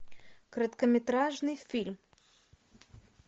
короткометражный фильм